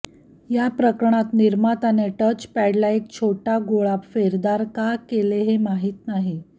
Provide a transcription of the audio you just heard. या प्रकरणात निर्मातााने टचपॅडला एक छोटा गोळ का फेरदार का केले हे माहिती नाही